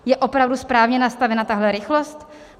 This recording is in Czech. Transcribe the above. Je opravdu správně nastavena tahle rychlost?